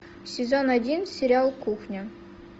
сезон один сериал кухня